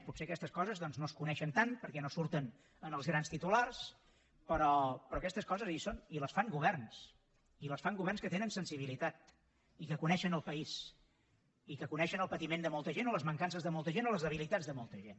potser aquestes coses doncs no es coneixen tant perquè no surten en els grans titulars però aquestes coses hi són i les fan governs i les fan governs que tenen sensibilitat i que coneixen el país i que coneixen el patiment de molta gent o les mancances de molta gent o les debilitats de molta gent